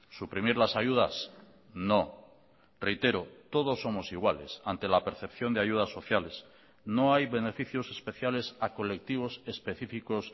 suprimir las ayudas no reitero todos somos iguales ante la percepción de ayudas sociales no hay beneficios especiales a colectivos específicos